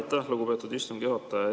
Aitäh, lugupeetud istungi juhataja!